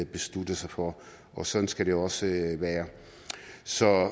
besluttede sig for og sådan skal det også være så